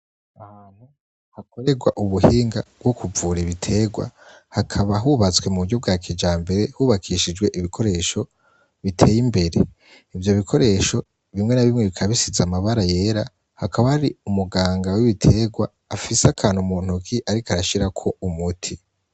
Ahantu hakorerwa ubuhinga bwo kuvura ibiterwa, hakaba hubatswe mu buryo bwa kijambere hubakishijwe ibikoresho biteyimbere. ivyo bikoresho rimwe na rimwe bikaba bisize amabara yera. hakaba hari umuganga w'ibiterwa afise akantu mu ntoke ariko arashirako umuti.